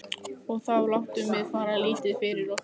Og þá látum við fara lítið fyrir okkur.